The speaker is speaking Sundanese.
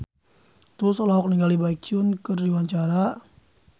Tulus olohok ningali Baekhyun keur diwawancara